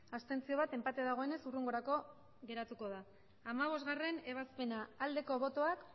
abstentzioak bat enpate dagoenez hurrengorako geratuko da hamabostgarrena ebazpena aldeko botoak